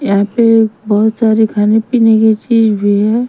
यहीं पे बहुत सारी खाने पीने की चीज़ भी है।